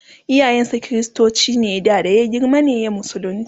iyayen sa kristoci ne da ya girma ne ya musulunta